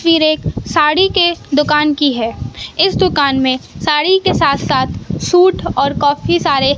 तस्वीर एक साड़ी के दुकान की है इस दुकान में साड़ी के साथ साथ सूट और काफी सारे--